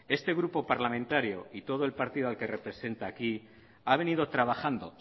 este grupo parlamentario y todo el partido al que representa aquí ha venido trabajando